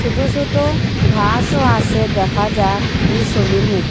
ছোট ছোট ঘাসও আছে দেখা যার এই ছবির মইধ্যে ।